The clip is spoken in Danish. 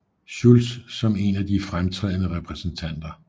Schulz som en af de fremtrædende repræsentanter